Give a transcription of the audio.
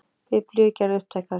Biblíur gerðar upptækar